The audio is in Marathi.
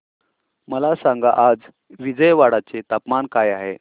मला सांगा आज विजयवाडा चे तापमान काय आहे